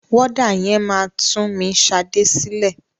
Wọ́dà yẹn máa tún mi Ṣadé sílẹ̀.